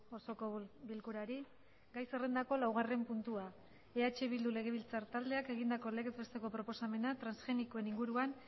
osoko bilkurari gai zerrendako laugarren puntua eh bildu legebiltzar taldeak egindako legez besteko proposamena transgenikoen inguruan